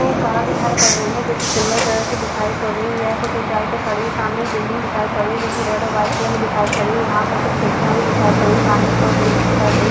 एक कार दिखाई पड़ रही है जो कि सिल्वर कलर की दिखाई पड़ रही है यह कुछ ऊंचाई पे खड़ी है सामने एक बिल्डिंग दिखाई पड़ रही है जो कि रेड और व्हाइट कलर में दिखाई पड़ रही है यहां पे कुछ खिड़कियां भी दिखाई पड़ रही है सामने एक और बिल्डिंग दिखाई पड़ रही है।